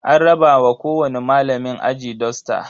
An raba wa kowani malamin aji dusta.